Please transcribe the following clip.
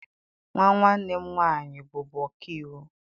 Nwa nwanne m nwaanyị bụbu ọka iwu.